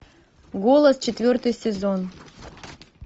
голос четвертый сезон